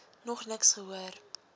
nog niks gehoor